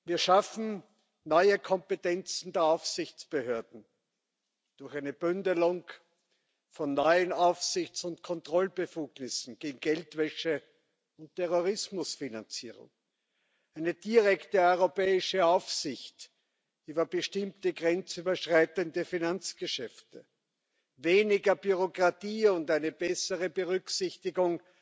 Wir schaffen neue Kompetenzen der Aufsichtsbehörden durch eine Bündelung von neuen Aufsichts und Kontrollbefugnissen gegen Geldwäsche und Terrorismusfinanzierung, eine direkte europäische Aufsicht über bestimmte grenzüberschreitende Finanzgeschäfte, weniger Bürokratie und eine bessere Berücksichtigung